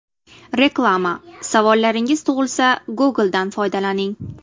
Reklama: Savollaringiz tug‘ilsa, Google’dan foydalaning.